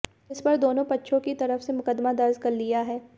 जिस पर दोनों पक्षों की तरफ से मुकदमा दर्ज कर लिया है